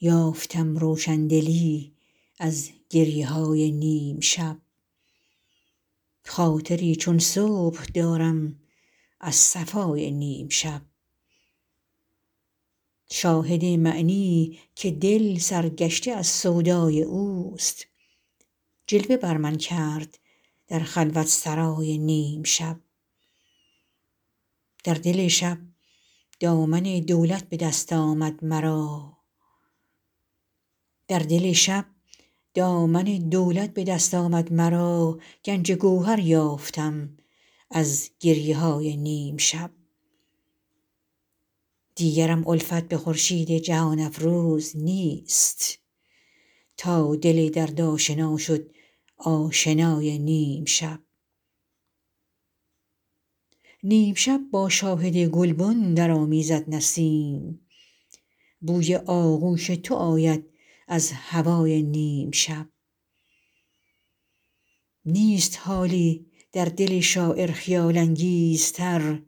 یافتم روشندلی از گریه های نیم شب خاطری چون صبح دارم از صفای نیم شب شاهد معنی که دل سر گشته از سودای اوست جلوه بر من کرد در خلوت سرای نیم شب در دل شب دامن دولت به دست آمد مرا گنج گوهر یافتم از گریه های نیم شب دیگرم الفت به خورشید جهان افروز نیست تا دل درد آشنا شد آشنای نیم شب نیم شب با شاهد گلبن درآمیزد نسیم بوی آغوش تو آید از هوای نیم شب نیست حالی در دل شاعر خیال انگیزتر